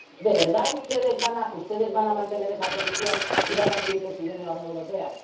nuestra ayuda. ¿De verdad ustedes van a mantener esa posición y van a seguir presidiendo la